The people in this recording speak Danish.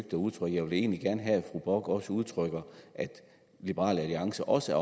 at udtrykke jeg vil egentlig gerne have at fru bock også udtrykker at liberal alliance også